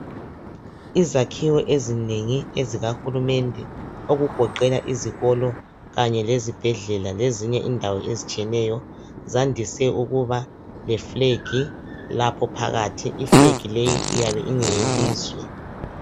Izakhiwo ezinengi ezikahulumende okugoqela izikolo kanye lezibhedlela lezinye indawo ezitshiyeneyo zandise ukuba leflegi lapho phakathi, iflegi leyi iyabe ingeyelizwe.